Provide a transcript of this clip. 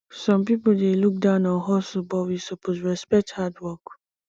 some pipo dey look down on hustle but we suppose respect hard work